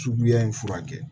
Suguya in furakɛ